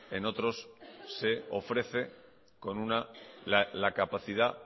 en otros se ofrece la capacidad